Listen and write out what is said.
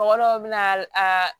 Mɔgɔ dɔw bɛ na a